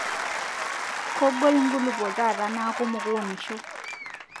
Kogol nkulupo taata naaku mukuunisho